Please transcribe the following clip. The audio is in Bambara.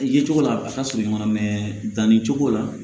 I ye cogo la a ka surun ɲɔgɔn na mɛ danni cogo la